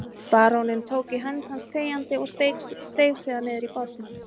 Baróninn tók í hönd hans þegjandi og steig síðan niður í bátinn.